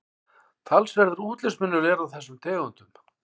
Talsverður útlitsmunur er á þessum tegundum.